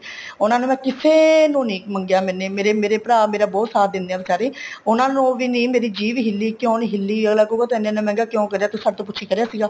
ਉਹਨਾ ਨੂੰ ਮੈਂ ਕਿਸੇ ਨੂੰ ਨਹੀਂ ਮੰਗਿਆ ਮੈਨੇ ਮੇਰੇ ਮੇਰੇ ਭਰਾ ਮੇਰਾ ਬਹੁਤ ਸਾਥ ਦਿੰਦੇ ਹੈ ਬੀਚਾਰੇ ਉਹਨਾ ਨੂੰ ਵੀ ਨਹੀਂ ਮੇਰੀ ਜੀਭ ਹਿਲੀ ਕਿਉ ਨਹੀਂ ਹਿੱਲੀ ਅੱਗਲਾ ਕਹੂਗਾ ਤੂੰ ਐਨਾ ਐਨਾ ਮੰਹਿਗਾ ਕਿਉਂ ਕਰਿਆ ਤੂੰ ਸਾਡੇ ਤੋਂ ਪੁੱਛਕੇ ਕਰਿਆ ਸੀਗਾ